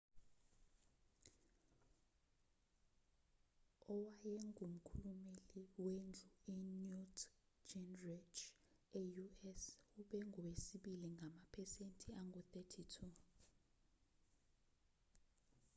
owayengumkhulumeli wendlu i-newt gingrich e-u.s. ube ngowesibili ngamaphesenti angu-32